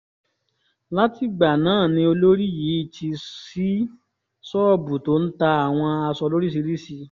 látìgbà náà ni olórí yìí ti ṣí ṣọ́ọ̀bù tó ń ta àwọn aṣọ lóríṣìíríṣìí